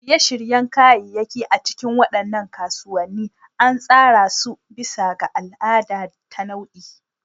Shirye-shiryen kayayyaki a cikin waɗannan kasuwanni an tsara su bisa ga al'ada ta nau'i.